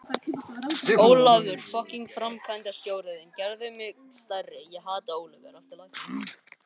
Ólafur varð framkvæmdastjóri fyrirtækisins við þessar breytingar og síðar hjá